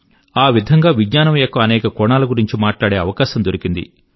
ఆ విధం గా విజ్ఞానం యొక్క అనేక కోణాల గురించి మాట్లాడే అవకాశం దొరికింది